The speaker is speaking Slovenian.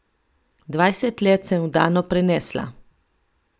Dvajset let sem vdano prenesla.